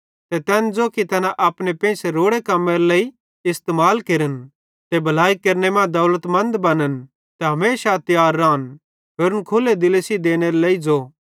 ते तैन ज़ो कि तैना अपने पेइंसे रोड़े कम्मां केरे लेइ इस्तेमाल केरन ते भलाई केरने मां दौलतमंद बनन ते हमेशा तियार रान होरन खुल्ले दिले सेइं देनेरे लेइ ज़ो